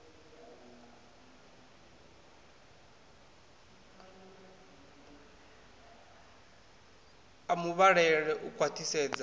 a mu vhalele u khwaṱhisedza